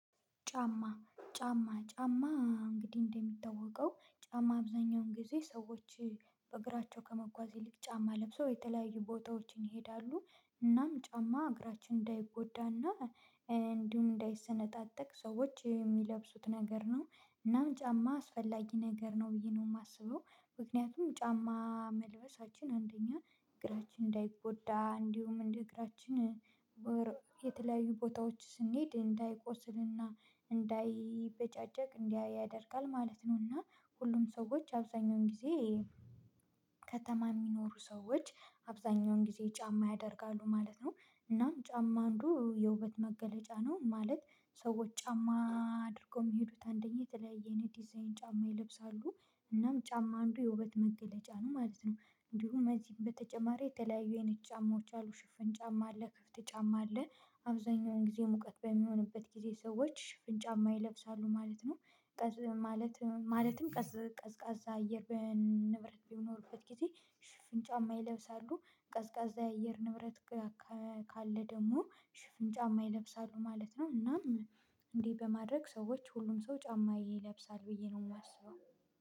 ጫማ፣ ጫማ፣ ጫማ። እንግዲህ፣ እንደሚታወቀው፣ ጫማ አብዛኛውን ጊዜ ሰዎች እ በእግራቸው ከመጓዝ ይልቅ ጫማ ለብሰው የተለያዩ ቦታዎችን ይሄዳሉ። እናም ጫማ እግራችን እንዳይጎዳና እንዲሁም እንዳይሰነጣጠቅ ሰዎች የሚለብሱት ነገር ነው። እናም ጫማ አስፈላጊ ነገር ነው ብዬ ነው የማስበው። ምክንያቱም ጫማ መልበሳችን፣ አንደኛ፣ እግራችን እንዳይጎዳ፣ እንዲሁም እንደ እግራችን ኤ የተለያዩ ቦታዎች ስንሄድ እንዳይቆስልና እንዳይበጫጨቅ እንዳያደርግ ማለት ነው። እና ሁሉም ሰዎች አብዛኛውን ጊዜ ከተማ የሚኖሩ ሰዎች አብዛኛውን ጊዜ ጫማ ያደርጋሉ ማለት ነው። እናም ጫማ አንዱ የውበት መገለጫ ነው ማለት ነው። ሰዎች ጫማ አድርገው የሚሄዱት፣ አንደኛ፣ የተለያየ የዲዛይን ጫማ ይለብሳሉ። እናም ጫማ አንዱ የውበት መገለጫ ነው ማለት ነው። እንዲሁም እዚህም በተጨማሪ፣ የተለያዩ አይነት ጫማዎች አሉ። ሽፍን ጫማ አለ፣ ክፍት ጫማ አለ። አብዛኛውን ጊዜ ሙቀት በሚሆንበት ጊዜ ሰዎች ሽፍን ጫማ ይለብሳሉ ማለት ነው። ይሄ ማለት ኤ ማለትም፣ ቀዝ ቀዝቃዛ አየር በንብረት በሚኖርበት ጊዜ ሽፍን ጫማ ይለብሳሉ። ቀዝቃዛ የአየር ንብረት ከኤ ካለ ደግሞ ሽፍን ጫማ ይለብሳሉ ማለት ነው። እናም እንዲህ በማድረግ፣ ሰዎች ሁሉም ሰው ጫማ ይለብሳል ብዬ ነው የማስበው።